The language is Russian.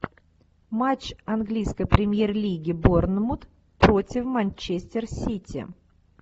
матч английской премьер лиги борнмут против манчестер сити